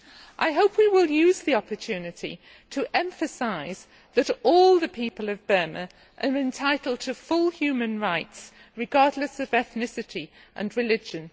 I hope we will use the opportunity to emphasise that all the people of Burma are entitled to full human rights regardless of ethnicity and religion.